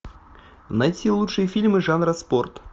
найти лучшие фильмы жанра спорт